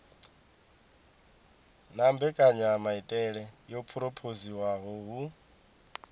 na mbekanyamaitele yo phurophoziwaho hu